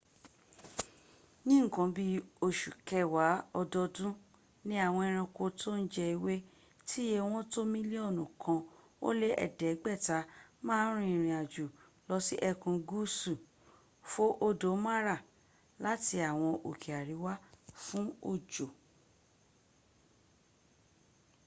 ní nǹkan bí i osù kẹwàá ọdọọdún ni àwọn ẹranko tó ń jẹ ewé tíye wọ́n tó mílíọ̀nù kan ó lé ẹ̀ẹ́dẹ́gbẹ̀ta ma ń rìnrìn àjò lọ sí ẹkùn gúúsù fo odò mara láti àwọn òkè àríwá fún òjò